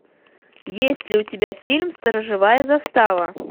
есть ли у тебя фильм сторожевая застава